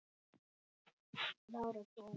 Blár og Brúnn.